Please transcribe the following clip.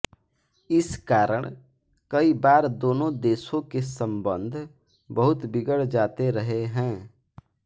इस कारण कई बार दोनों देशों के सम्बन्ध बहुत बिगड़ जाते रहे हैं